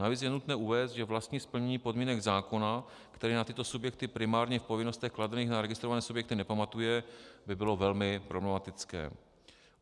Navíc je nutné uvést, že vlastní splnění podmínek zákona, který na tyto subjekty primárně v povinnostech kladených na registrované subjekty nepamatuje, by bylo velmi problematické.